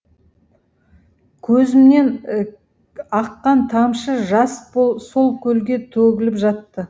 көзімнен аққан тамшы жас сол көлге төгіліп жатты